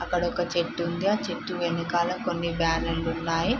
అక్కడ ఒక చెట్టు ఉంది. ఆ చెట్టు వెనకాల కొన్ని బ్యానెర్లు లు ఉన్నాయి.